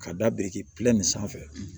Ka da biriki nin sanfɛ